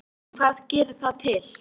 En hvað gerir það til